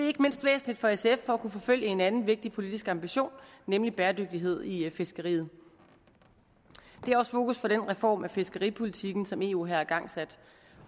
ikke mindst væsentligt for sf for at kunne forfølge en anden vigtig politisk ambition nemlig bæredygtighed i fiskeriet det er også fokus for den reform af fiskeripolitikken som eu her har igangsat